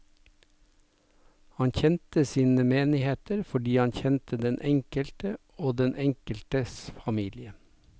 Han kjente sine menigheter fordi han kjente den enkelte og den enkeltes familie.